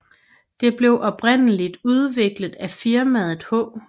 Det blev oprindeligt udviklet af firmaet H